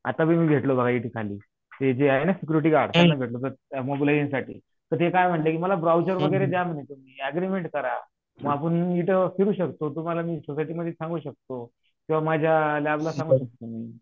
आता घेतलं आता घाली ते जे आहे ना सिकुरीटी गार्ड त्यांना भेटलों होतो मोबिलाईजेशन साठी तर तेकाय म्हंटले मला ब्राउचर वगैरे द्या अग्रीमेंट करा मग आपुण इथे फिरू शकतो तुम्हाला मी सांगू शकतो किवा माझा लॅबला सांगू शकतो मी